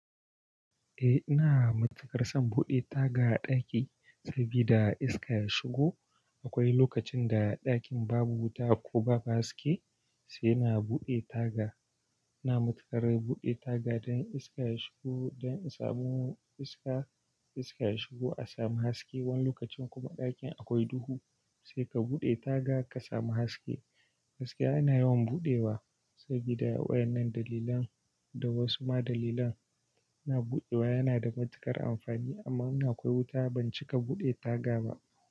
Eh, ina matuƙar son buɗe taga a ɗaki sabida iska ya shigo. Akwai lokacin da ɗakin babu wuta ko babu haske, sai na buɗe taga. Ina matukar buɗe taga don iska ya shigo, don insamu iska, iska ya shigo a sami haske. Wani lokacin kuma ɗakin akwai duhu, sai ka buɗe taga ka sami haske. Haske ana yawan buɗewa sabida wayan nan dalilan da wasu ma dalilan. Ina buɗewa yana da matuƙar amfani, amma in akwai wuta ban cika buɗe taga ba.